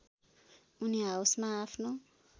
उनी हाउसमा आफ्नो